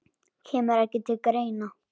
Kemur ekki til greina.